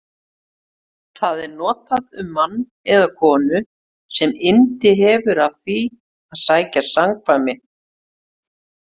Það er notað um mann eða konu sem yndi hefur af því að sækja samkvæmi.